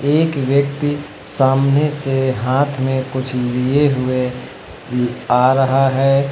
एक व्यक्ति सामने से हाथ में कुछ लिए हुए आ रहा है।